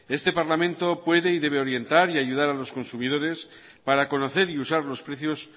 este parlamento puede y debe orientar y ayudar a los consumidores para conocer y usar los precios